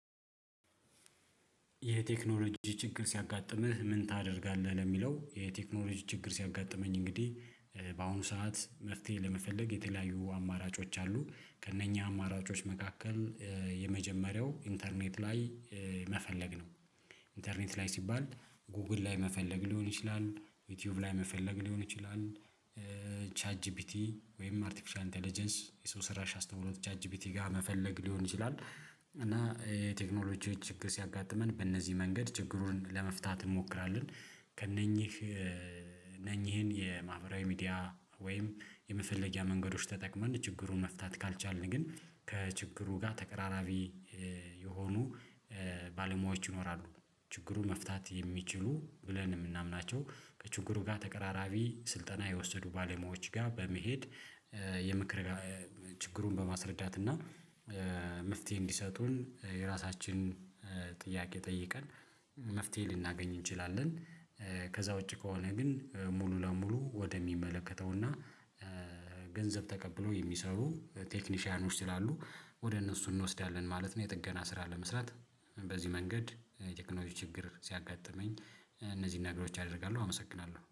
የቴክኖሎጂ ችግር ሲያጋጥምህ ምን ታደርጋለህ? ለሚለው የቴክኖሎጂ ችግር ሲያጋጥመኝ እንግዲህ በአሁኑ ሰዓት መፍትሄ ለመፈለግ የተለያዩ አማራጮች አሉ ከእነኛ አማራጮች መካከል የመጀመሪያው ኢንተርኔት ላይ መፈለግ ነው። ኢንተርኔት ላይ ሲባል ጎግል ላይ መፈለግ ሊሆን ይችላል ዩቲዩብ ላይ መፈለግ ሊሆን ይችላል ቻት ጂፒቲ ወይም አርቲፊሻል ኢንተለጀንስ የሰው ሰራሽ አስተውሎት ቻት ጂፒቲ ጋር መፈለግ ሊሆን ይችላል። እና የቴክኖሎጂዎች ችግር ሲያጋጥመን በእነዚህ መንገድ ችግሩን ለመፍታት እንሞክራለን። ከእነኚህ እነኚህን የማህበራዊ ሚዲያ ወይም የመፈለጊያ መንገዶች ተጠቅመን ችግሩን መፍታት ካልቻልን ግን ከችግሩ ጋር ተቀራራቢ የሆኑ ባለሙያዎች ይኖራሉ ችግሩ መፍታት የሚችሉ ብለን የምናምናቸው ከችግሩ ጋር ተቀራራቢ ስልጠና የወሰዱ ባለሙያዎች ጋር በመሄድ የምክር ችግሩን በማስረዳት እና መፍትሄ እንዲሰጡን የራሳችን ጥያቄ ጠይቀን መፍትሄ ልናገኝ እንችላለን። ከዛ ውጪ ከሆነ ግን ሙሉ ለሙሉ ወደሚመለከተው እና ገንዘብ ተቀብሎ የሚሰሩ ቴክኒሻውያኖች ስላሉ ወደ እነሱ እንወስዳለን ማለት ነው። የጥገና ስራ ለመስራት በዚህ መንገድ ቴክኖሎጂ ችግር ሲያጋጥመኝ እነዚህን ነገሮች አደርጋለሁ። አመሰግናለሁ